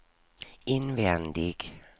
invändig